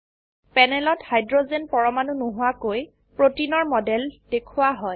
প্যানেলত হাইড্ৰোজেন পৰমাণু নোহোৱাকৈ প্ৰোটিনৰ মডেল দেখোৱা হয়